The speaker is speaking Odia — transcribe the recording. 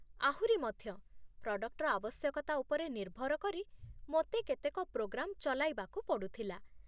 ଆହୁରି ମଧ୍ୟ, ପ୍ରଡକ୍ଟର ଆବଶ୍ୟକତା ଉପରେ ନିର୍ଭର କରି ମୋତେ କେତେକ ପ୍ରୋଗ୍ରାମ ଚଲାଇବାକୁ ପଡ଼ୁଥିଲା